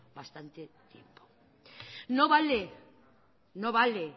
bastante tiempo no vale no vale